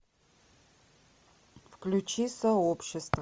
включи сообщество